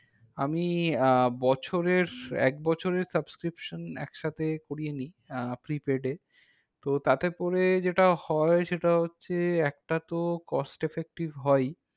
আমি আহ বছরের আহ একবছরের subscription একসাথে করে নি, আহ prepaid এ। তো তাতে করে যেটা হয় সেটা হচ্ছে একটা তো cost effective হয়ই।